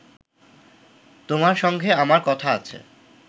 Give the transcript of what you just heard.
তোমার সঙ্গে আমার কথা আছে